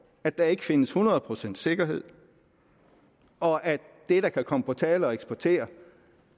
at der ikke findes hundrede procents sikkerhed og at det der kan komme på tale at eksportere